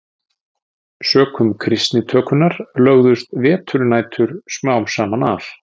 Sökum kristnitökunnar lögðust veturnætur smám saman af.